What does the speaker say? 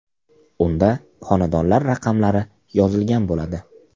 Unda xonadonlar raqamlari yozilgan bo‘ladi.